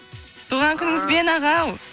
туған күніңізбен ағау